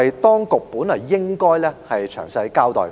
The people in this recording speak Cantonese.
當局本應就此作出詳細交代。